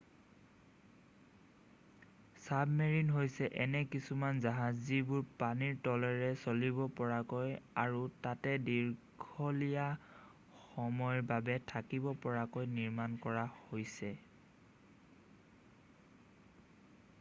submarine হৈছে এনে কিছুমান জাহাজ যিবোৰ পানীৰ তলেৰে চলিব পৰাকৈ আৰু তাতে দীঘলীয়া সময়ৰ বাবে থাকিব পৰাকৈ নিৰ্মাণ কৰা হৈছে